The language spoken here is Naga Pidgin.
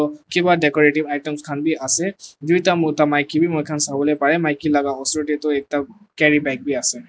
kiba decorative items khan bi ase duita mota maki bi sawo parae maki laka osor tae ekta carry bag biase.